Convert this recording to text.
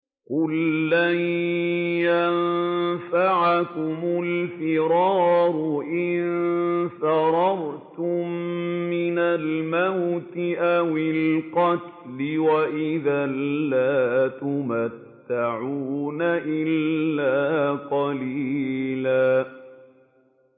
قُل لَّن يَنفَعَكُمُ الْفِرَارُ إِن فَرَرْتُم مِّنَ الْمَوْتِ أَوِ الْقَتْلِ وَإِذًا لَّا تُمَتَّعُونَ إِلَّا قَلِيلًا